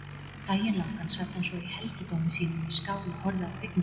Daginn langan sat hann svo í helgidómi sínum við skál og horfði á kvikmyndir.